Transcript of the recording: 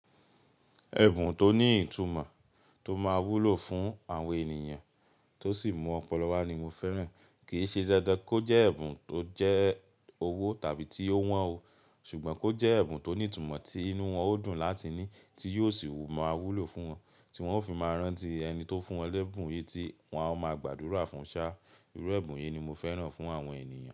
Ẹ̀bùn tó ní ìtumọ̀ tó máa wúlò fún àwọn ènìyàn tó sì mú ọpọlọ wá ni mo fẹ́ràn. Kìí ṣe dandan kó jẹ́ ẹ̀bùn tó jẹ́ owó tàbí tí ó wọ́n o, ṣùgbọ́n kó jẹ́ ẹ̀bùn tó ní ìtumọ̀ tí inú wọn ó dùn láti ní, tí yóò sì máa wúlò fún wọn, tí wọn ó fi máa rántí ẹni tó fún wọn lẹ́bùn yìí, tí wọn a máa gbàdúrà fún ṣá. Irú ẹ̀bùn yìí ni mo fẹ́ràn fún àwọn ènìyàn.